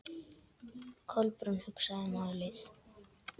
Kolbrún hugsaði málið.